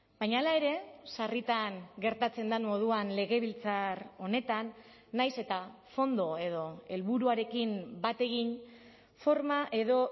baina hala ere sarritan gertatzen den moduan legebiltzar honetan nahiz eta fondo edo helburuarekin bat egin forma edo